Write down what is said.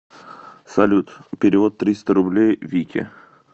салют перевод триста рублей вике